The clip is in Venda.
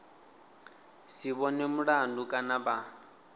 si vhonwe mulandu kana vha